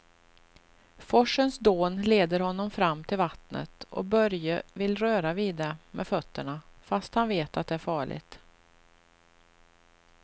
Forsens dån leder honom fram till vattnet och Börje vill röra vid det med fötterna, fast han vet att det är farligt.